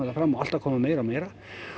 fram og alltaf að koma meira og meira